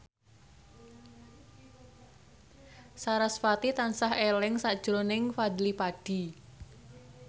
sarasvati tansah eling sakjroning Fadly Padi